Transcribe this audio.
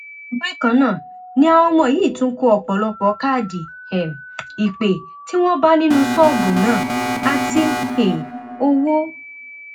bákan náà ni àwọn ọmọ yìí tún kó ọpọlọpọ káàdì um ìpè tí wọn bá nínú ṣọọbù náà àti um owó